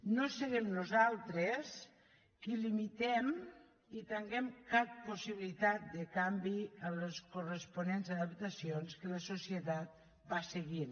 no serem nosaltres qui limitem i tanquem cap possibilitat de canvi a les corresponents adaptacions que la societat va seguint